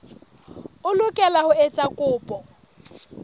o lokela ho etsa kopo